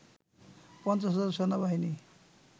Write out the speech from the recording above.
৫০ হাজার সেনাবাহিনী